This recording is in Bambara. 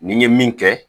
Ni ye min kɛ